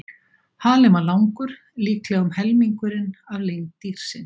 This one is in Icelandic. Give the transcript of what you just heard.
Halinn var langur, líklega um helmingurinn af lengd dýrsins.